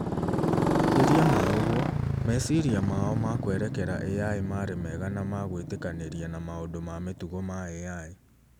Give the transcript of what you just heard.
Makĩria ma ũguo, meciria mao ma kwerekera AI marĩ mwega na ma gwìtĩkanĩria na maũndũ ma mĩtugo ma AI.